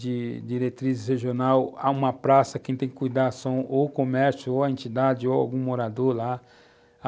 de diretriz regional, há uma praça, quem tem que cuidar são ou o comércio, ou a entidade, ou algum morador lá.